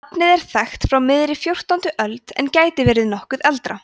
nafnið er þekkt frá miðri fjórtándu öld en gæti verið nokkru eldra